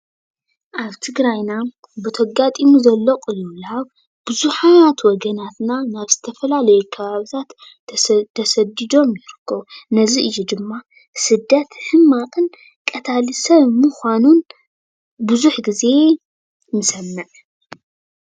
ኣብ ትግራይና ብቲ ኣጋጢሙ ዘሎ ቅልውላው ብዙሓት ወገናት ናብ ዝተፈላለዩ ከባብታት ተሰዲዶም ይርከቡ ።ነዚ እዩ ድማ ስደት ሕማቅንን ቀታሊ ሰብ ብምኳኑ ብዙሕ ግዜ ንሰምዕ።